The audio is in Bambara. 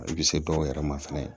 I bɛ se dɔw yɛrɛ ma fɛnɛ